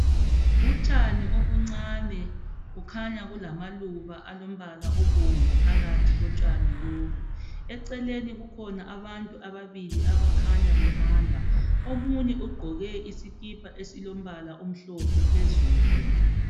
Utshani obuncani, kukhanya kulamaluba alombala obomvu phakathi kotshani lobu, eceleni kukhona abantu ababili abakhanya behamba, omunye ugqoke isikhipha esilombala omhlophe phezulu.